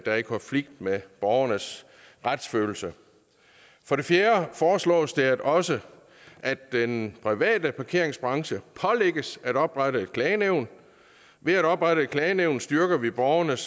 er i konflikt med borgernes retsfølelse for det fjerde foreslås det også at den private parkeringsbranche pålægges at oprette et klagenævn ved at oprette et klagenævn styrker vi borgernes